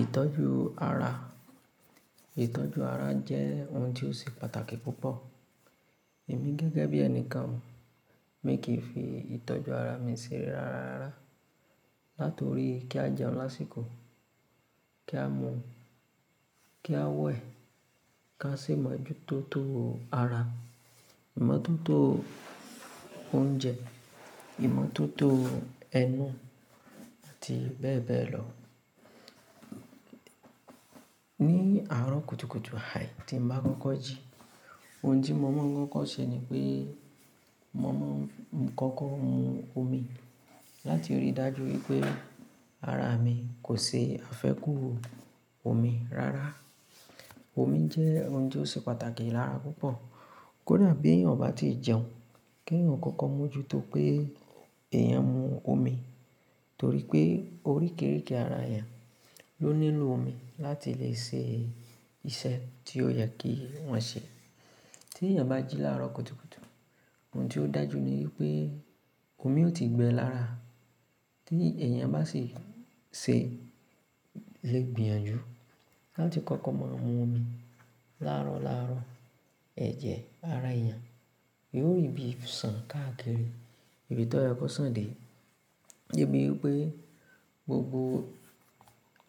Ìtọ́jú ara, ìtọ́jú ara jẹ́ ohun tí ó ṣe pàtàkì púpọ̀. Èmi gẹ́gẹ́ bí ẹni kan ò, mi kì í fi ìtọ́jú ara mi ṣe ré rárá. Látorí kí a jẹun lásìkò, kí a mu, kí a wẹ̀, ká sì máa jú tó tó ara, ìmọ́tótó oúnjẹ, ìmọ́tótó ẹnu àti bẹ́ẹ̀ bẹ́ẹ̀ lọ. Ní àárọ̀ kùtùkùtù àì tí n bá kọ́kọ́ jí, ohun tí mo mọ̀ kọ́kọ́ ṣe ni pé, mo mọ̀ hún kọ́kọ́ mu omi. Látirí dájú wípé ara mi kò ṣe àfẹ́kù omi rárá. Omi jẹ́ ohun tó ṣe pàtàkì lára púpọ̀. Kódà bí èèyàn ò bá tí ì jẹun, kí èèyàn kò kọ́kọ́ mójú tó pé èèyàn mu omi. Torí pé oríkìríkì ara èèyàn ló nílò omi láti le ṣe iṣẹ́ tí ó yẹ kí wọ́n ṣe. Tí èèyàn bá jí láàárọ̀ kùtùkùtù, ohun tí ó dájú ni wípé omi ò tí ì gbẹ lára. Tí èèyàn bá sì ṣe lè gbìyànjú láti kọ́kọ́ máa ń mu omi láàárọ̀ láàrọ́ọ̀, ẹ̀jẹ̀ ara èèyàn yóò rí bí sàn káàkiri ibi tó yẹ kó sàn dé. Dé bi wípé gbogbo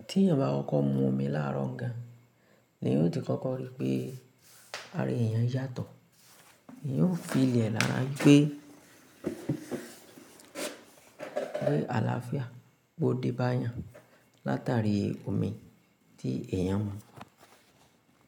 tí èèyàn bá kọ́kọ́ mu omi láàárọ̀ gàn an, ni yóò ti kọ́kọ́ rí pé ara èèyàn yàtọ̀. Èèyàn ó fi lè lára pé, pé àlàáfíà bó dé bá èèyàn látàrí omi tí èèyàn mu.